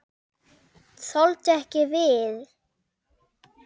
Þoldu ekki við.